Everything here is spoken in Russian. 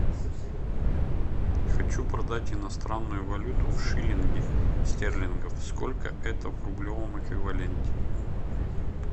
хочу продать иностранную валюту шиллинги стерлингов сколько это в рублевом эквиваленте